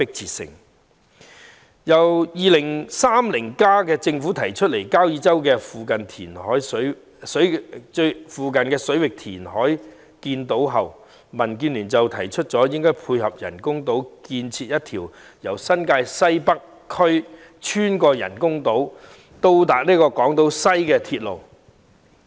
自政府的《香港 2030+： 跨越2030年的規劃遠景與策略》提出在交椅洲附近水域填海建島後，民建聯提出應配合人工島建設一條由新界西北穿越人工島至港島西的鐵路。